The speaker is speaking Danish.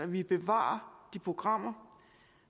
vi bevarer de programmer